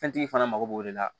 Fɛntigi fana mago b'o de la